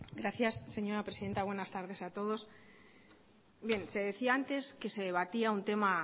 gracias señora presidenta buenas tardes a todos se decía antes que se debatía un tema